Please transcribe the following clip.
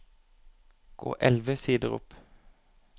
Gå elleve sider opp